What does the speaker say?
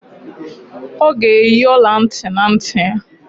Ọ ga-eyi ọla ntị na ntị ya